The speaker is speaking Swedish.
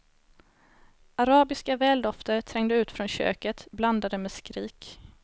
Arabiska väldofter trängde ut från köket, blandade med skrik.